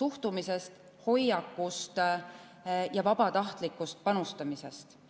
suhtumisest, hoiakust ja vabatahtlikust panustamisest.